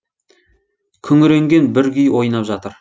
күңіренген бір күй ойнап жатыр